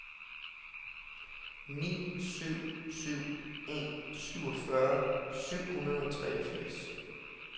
ni syv syv en syvogfyrre syv hundrede og treogfirs